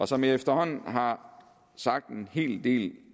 som jeg efterhånden har sagt en hel del